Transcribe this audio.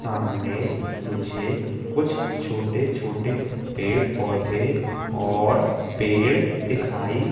सामने मुझे कुछ छोटे छोटे पेड़ पौधे और पेड़ दिखाई--